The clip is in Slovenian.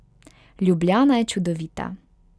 Ljubljana je čudovita.